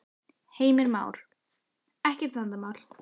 Heimir Már: Ekkert vandamál?